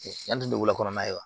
Yanni dugulakɔnɔ na